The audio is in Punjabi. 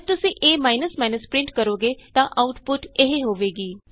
ਜਦ ਤੁਸੀਂ ਏ ਪਰਿੰਟ ਕਰੋਗੇ ਤਾਂ ਆਉਟਪੁਟ ਇਹ ਹੋਏਗੀ